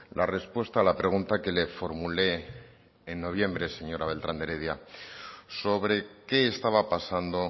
la respuesta a la pregunta que le formulé en noviembre señora beltrán de heredia sobre qué estaba pasando